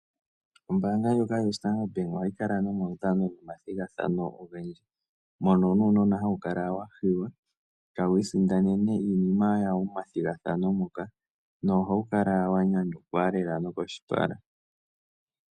Ombaanga ndjoka yo Sandard bank ohayi kala nomaudhano nomathigathano ogendji, mono nuunona hawu kala wa hiywa tawu isindanene iinima yawo momathigathano ngoka nohawu kala wa nyanyukwa lela nomoshipala.